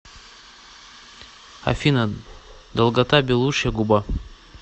афина долгота белушья губа